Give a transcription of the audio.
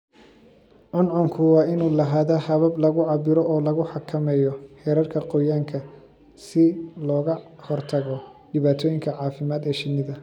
Cuncunku waa inuu lahaadaa habab lagu cabbiro oo lagu xakameeyo heerarka qoyaanka si looga hortago dhibaatooyinka caafimaad ee shinnida.